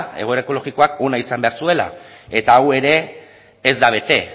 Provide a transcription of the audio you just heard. egoera ekologikoak ona izan behar zuela eta hau ere ez da bete